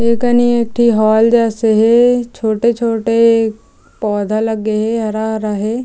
ए कनि एक ठी हॉल जैसे हे छोटे-छोटे पौधा लगे हे हरा-हरा हे।